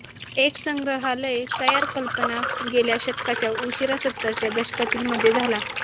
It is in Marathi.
एक संग्रहालय तयार कल्पना गेल्या शतकाच्या उशीरा सत्तरच्या दशकातील मध्ये झाला